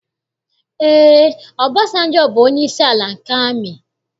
Ee, Ọbasanjọ bụ onyeisi ala nke amị.